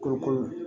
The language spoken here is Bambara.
Kɔkɔ